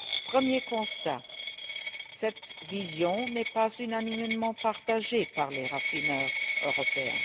Premier constat cette vision n'est pas unanimement partagée par les raffineurs européens.